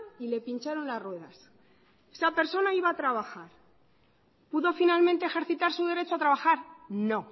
y le pincharon las ruedas esa persona iba a trabajar pudo finalmente ejercitar su derecho a trabajar no